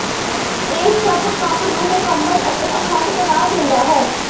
ਇਹ ਸਭ ਕੰਮ ਨੂੰ ਮੁਕੰਮਲ ਅਤੇ ਅਖੰਡ ਬਣਾ ਦਿੰਦਾ ਹੈ